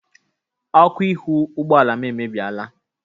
Ọkụ ihu ụgbọala m emebieela.